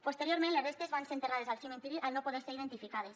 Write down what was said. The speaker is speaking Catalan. posteriorment les restes van ser enterrades al cementiri al no poder ser identificades